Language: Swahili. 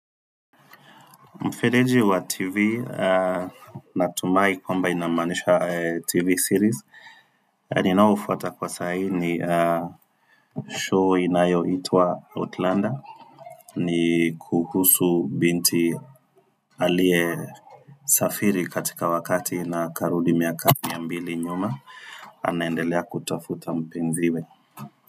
Mfereji wa TV natumai kwamba inamaanisha TV series. Ninayofuata kwa saa hii ni show inayoitwa Outlander. Ni kuhusu binti aliye safiri katika wakati na akarudi miaka mia mbili nyuma. Anaendelea kutafuta mpenziwe.